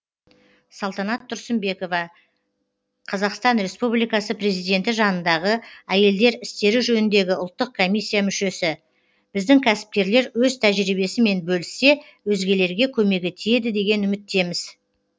салтанат тұрсынбекова қазақстан республикасы президенті жанындағы әйелдер істері жөніндегі ұлттық комиссия мүшесі біздің кәсіпкерлер өз тәжірибесімен бөліссе өзгелерге көмегі тиеді деген үміттеміз